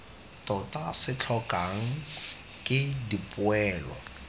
tota se tlhokwang ke dipoelo